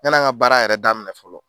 Yani an ka baara yɛrɛ daminɛ fɔlɔ